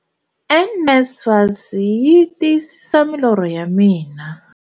NSFAS yi tiyisisa milorho ya mina.